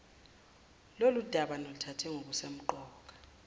lolundaba niluthathe njengolusemqoka